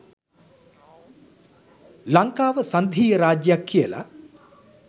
ලංකාව සංධීය රාජ්‍යයක් කියල.